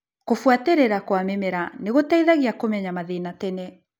Kũbuatĩrĩra kwa mĩmera nĩgũteithagia kũmenya mathĩna tene.